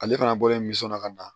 Ale fana bɔlen minsɔnɔ ka na